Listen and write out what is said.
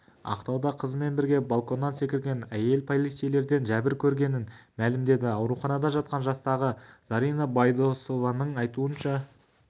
ақтауда қызымен бірге балконнан секірген әйел полицейлерден жәбір көргенін мәлімдеді ауруханада жатқан жастағы зарина байдосованың айтуынша